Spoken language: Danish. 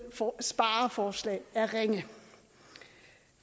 spareforslag er ringe